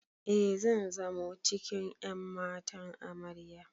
E, zan zamo cikin ƴan matan Amarya.